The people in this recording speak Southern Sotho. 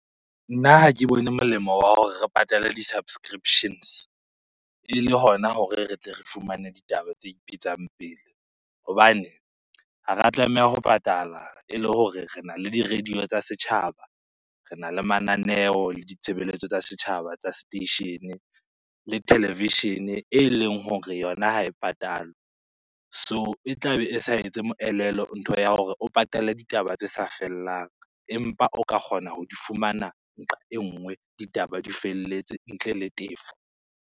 Nna ha ke bone molemo wa hore re patale di-subscriptions ele hona hore re tle re fumane ditaba tse ipetsang pele. Hobane ha ra tlameha ho patala ele hore rena le di-radio tsa setjhaba, rena le mananeo le ditshebeletso tsa setjhaba tsa seteishene le televishene eleng hore yona ha e patalwe. So e tlabe e sa etse moelelo ntho ya hore o patale ditaba tse sa fellang empa o ka kgona ho di fumana nqa e nngwe, ditaba di felletse ntle le tefo.